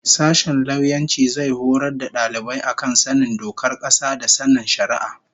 Sashen lauyanci zai horar da dalibai a kan sanin dokar kasa da sanin shari'a